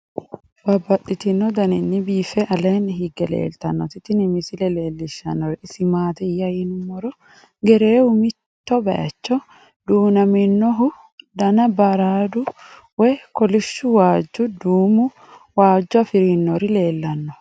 Babaxxittinno daninni biiffe aleenni hige leelittannotti tinni misile lelishshanori isi maattiya yinummoro gereewu mitto bayiichcho duunnaminnohu danna baruudu woy kolishshu waajjo, duummu waajjo afirinnori leelanno.